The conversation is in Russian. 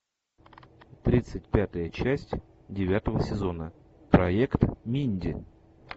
тридцать пятая часть девятого сезона проект минди